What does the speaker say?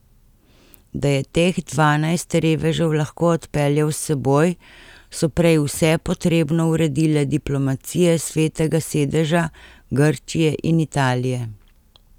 Da je teh dvanajst revežev lahko odpeljal s seboj, so prej vse potrebno uredile diplomacije Svetega sedeža, Grčije in Italije.